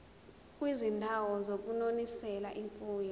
kwizindawo zokunonisela imfuyo